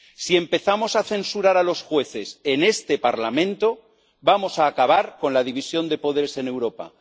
Si empezamos a censurar a los jueces en este Parlamento, vamos a acabar con la división de poderes en Europa.